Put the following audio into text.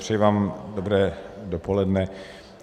Přeji vám dobré dopoledne.